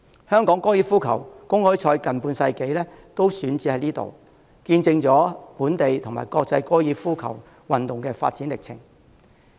香港高爾夫球公開賽近半世紀都選址於此，見證了本地及國際高爾夫球運動的發展歷程。